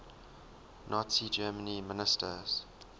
nazi germany ministers